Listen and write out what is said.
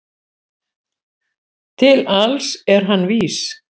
Til alls er hann vís